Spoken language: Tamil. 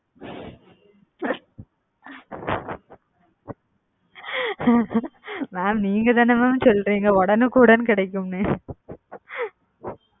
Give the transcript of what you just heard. mam நீங்க தான mam சொன்னீங்க உடன்னுக்குடன் கிடைக்கும் னு.